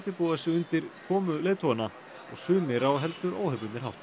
búa sig undir komu leiðtoganna sumir á heldur óhefðbundinn hátt